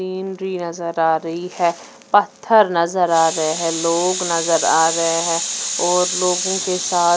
Andriy नजर आ रही हे पत्थर नजर आ रहे है लोग नजर आ रहे हे और लोगो के साथ--